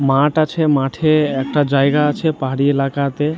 মাঠ আছে | মাঠে একটা জায়গা আছে পাহাড়ি এলাকাতে ।